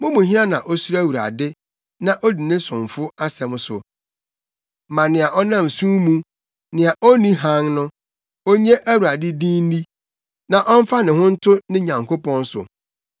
Mo mu hena na osuro Awurade, na odi ne somfo asɛm so? Ma nea ɔnam sum mu nea onni hann no, onnye Awurade din nni na ɔmfa ne ho nto ne Nyankopɔn so.